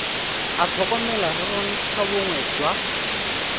a tlhokomela re bontlhabongwe jwa